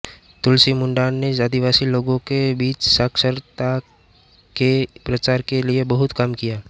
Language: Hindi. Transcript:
तुलसी मुण्डा ने आदिवासी लोगों के बीच साक्षरता के प्रसार के लिए बहुत काम किया